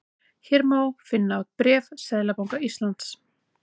Hér má finna bréf Seðlabanka Íslands